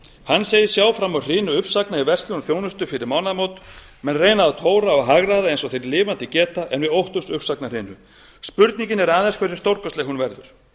hann segist sjá fram á hrinu uppsagna í verslun og þjónustu fyrir mánaðamót menn reyna að tóra og hagræða eins og þeir lifandi geta en við óttumst uppsagnahrinu spurningin er aðeins hversu stórkostleg hún verður